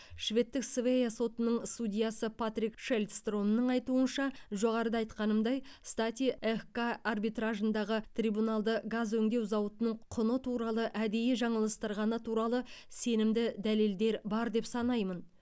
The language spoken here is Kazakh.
шведтік свеа сотының судьясы патрик шельдстромның айтуынша жоғарыда айтқанымдай стати эхк арбитражындағы трибуналды газ өңдеу зауытының құны туралы әдейі жаңылыстырғаны туралы сенімді дәлелдер бар деп санаймын